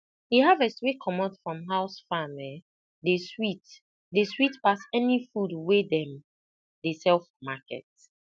the harvest wey comot from house farm um dey sweet dey sweet pass any food wey dem dey sell for market